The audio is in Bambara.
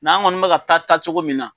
N'an kɔni mɛ ka taa taacogo min na.